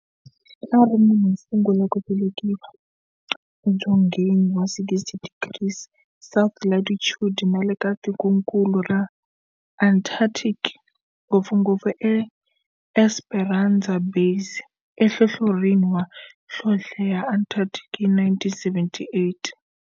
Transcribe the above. A ri munhu wosungula ku velekiwa edzongeni wa 60 degrees South latitude nale ka tikonkulu ra Antarctic, ngopfungopfu eEsperanza Base enhlohlorhini ya nhlonhle ya Antarctic hi 1978.